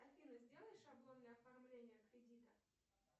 афина сделай шаблонное оформление кредита